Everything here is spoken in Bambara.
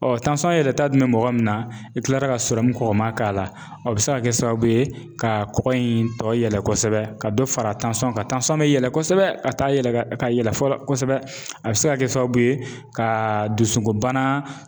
Ɔ tansɔn yɛlɛta dun be mɔgɔ min na i kilara ka sɔrɔmu kɔkɔma k'a la o be se ka kɛ sababu ye ka kɔgɔ in tɔ yɛlɛ kɔsɛbɛ ka dɔ fara tansɔn kan tansɔn be yɛlɛ kosɛbɛ ka taa yɛlɛ ka yɛlɛ fɔlɔ kosɛbɛ a be se ka kɛ sababu ye ka dusukunbana